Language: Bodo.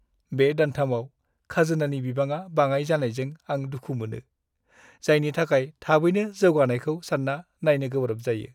बे दानथामाव खाजोनानि बिबाङा बाङाइ जानायजों आं दुखु मोनो, जायनि थाखाय थाबैनो जौगानायखौ सान्ना नायनो गोब्राब जायो।